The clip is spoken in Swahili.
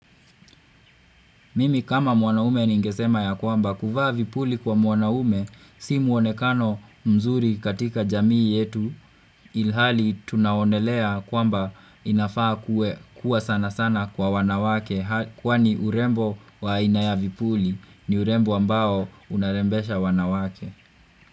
Mimi kama mwanaume ningesema ya kwamba kuvaa vipuli kwa mwanaume si muonekano mzuri katika jamii yetu ilhali tunaonelea kwamba inafaa kuwa sana sana kwa wanawake kwani urembo waaina ya vipuli ni urembo ambao unarembesha wanawake.